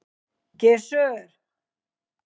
Gissur